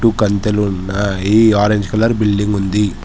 కంతెలు ఉన్నాయి orange colour building ఉంది.